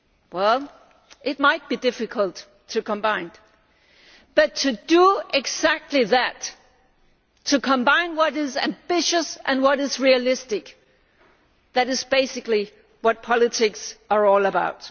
Well, it might be difficult to combine, but to do exactly that combining what is ambitious with what is realistic is basically what politics is all about.